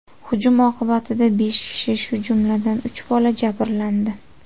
Hujum oqibatida besh kishi, shu jumladan, uch bola jabrlandi.